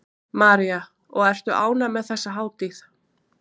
María: Og ertu ánægð með þessa hátíð?